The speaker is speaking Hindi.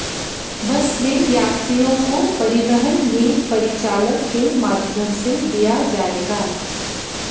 बस में यात्रियों को परिवहन नीर परिचालक के माध्यम से दिया जाएगा